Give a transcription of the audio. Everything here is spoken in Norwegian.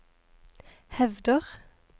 hevder